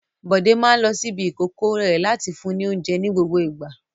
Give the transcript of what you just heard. Bọ̀dé máa ń lo ṣíbí ìkókó rẹ̀ láti fún ní oúnjẹ ní gbogbo ìgbà.